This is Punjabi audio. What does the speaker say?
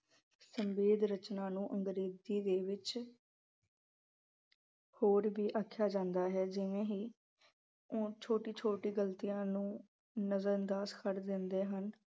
ਸੰਖੇਪ ਰਖ ਅਹ ਰਚਨਾ ਨੂੰ ਅੰਗਰੇਜ਼ੀ ਦੇ ਵਿੱਚ ਹੋਰ ਵੀ ਆਖਿਆਂ ਜਾਂਦਾ ਹੈ । ਜਿਵੇਂ ਹੀ ਉਹ ਛੋਟੀ-ਛੋਟੀ ਗਲਤੀਆਂ ਨੂੰ ਨਜ਼ਰ ਅੰਦਾਜ਼ ਕਰ ਦਿੰਦੇ ਹਨ।